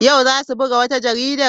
Yau za su buga wata jarida?